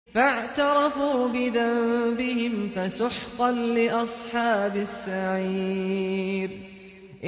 فَاعْتَرَفُوا بِذَنبِهِمْ فَسُحْقًا لِّأَصْحَابِ السَّعِيرِ